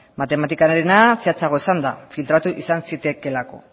matematikarena zehatzagoa izan da filtratu izan zitekeelako